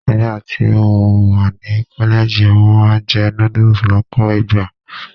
Nígbà tí mo wà ní kọ́lẹ́ẹ̀jì, mo máa ń jẹ noodles lọ́pọ̀ ìgbà.